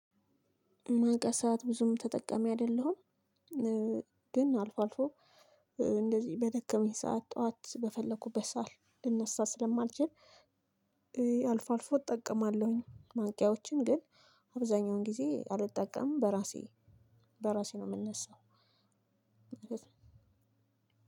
ማንቀሳት ብዙም ተጠቃሚ አይደለሁም። ግን አልፎ አልፎ እንደዚህ በደከመኝ ሰዓት ጠዋት በፈለኩበት ሰዓት ልነሳ ስለማልችል። አልፎ አልፎ እጠቀማለሁኝ ማንቂያዎችን ግን አብዛኛውን ጊዜ አልጠቀምም በራሴ በራሴ ነው። የምነሳው